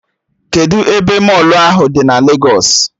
Kedụ ebe mọlụ ahụ dị na Legos?